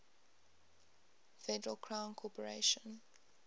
federal crown corporation